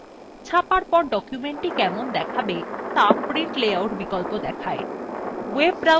ছাপার পর documentthe কেমন দেখাবে ত়া print layout বিকল্প দেখায়